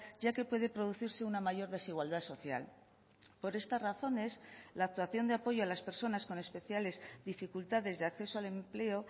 ya que puede producirse una mayor desigualdad social por estas razones la actuación de apoyo a las personas con especiales dificultades de acceso al empleo